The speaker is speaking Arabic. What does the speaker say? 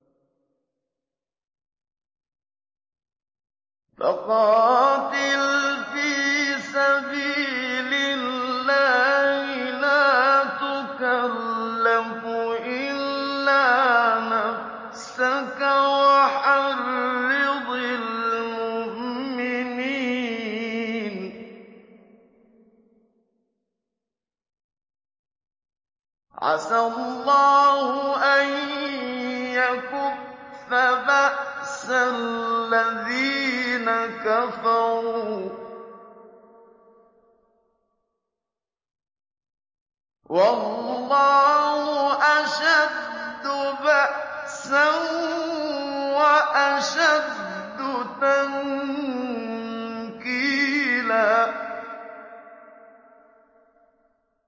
فَقَاتِلْ فِي سَبِيلِ اللَّهِ لَا تُكَلَّفُ إِلَّا نَفْسَكَ ۚ وَحَرِّضِ الْمُؤْمِنِينَ ۖ عَسَى اللَّهُ أَن يَكُفَّ بَأْسَ الَّذِينَ كَفَرُوا ۚ وَاللَّهُ أَشَدُّ بَأْسًا وَأَشَدُّ تَنكِيلًا